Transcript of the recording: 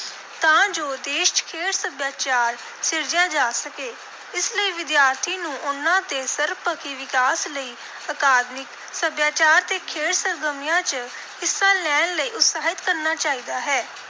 ਤਾਂ ਜੋ ਦੇਸ਼ ਚ ਖੇਡ ਸੱਭਿਆਚਾਰ ਸਿਰਜਿਆ ਜਾ ਸਕੇ। ਇਸ ਲਈ ਵਿਦਿਆਰਥੀ ਨੂੰ ਉਨ੍ਹਾਂ ਦੇ ਸਰਬਪੱਖੀ ਵਿਕਾਸ ਲਈ ਅਕਾਦਮਿਕ, ਸੱਭਿਆਚਾਰ ਤੇ ਖੇਡ ਸਰਗਰਮੀਆਂ ਚ ਹਿੱਸਾ ਲੈਣ ਲਈ ਉਤਸ਼ਾਹਿਤ ਕਰਨਾ ਚਾਹੀਦਾ ਹੈ।